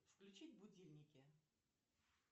включить будильники